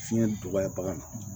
Fiɲɛ dɔgɔya bagan na